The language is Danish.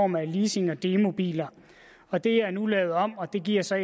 med leasing og demobiler og det er nu lavet om og det giver så